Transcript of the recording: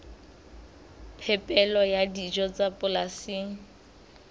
phepelo ya dijo tsa polasing